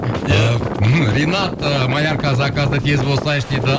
ринат ы малярка заказды тез болсайшы дейді